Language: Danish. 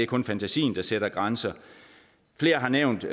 kun fantasien der sætter grænser flere har nævnt